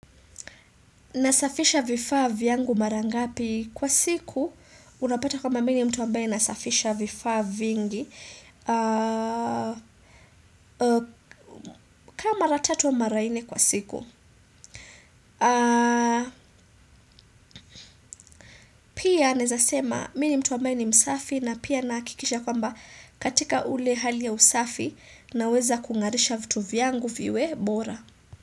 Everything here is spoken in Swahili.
Nasafisha vifaa vyangu mara ngapi kwa siku unapata kwamba mi ni mtu ambaye nasafisha vifaa vingi ka mara tatu au mara nne kwa siku. Pia naezasema mi ni mtu amabaye ni msafi na pia nahakikisha kwamba katika ule hali ya usafi naweza kung'arisha vitu vyangu viwe bora.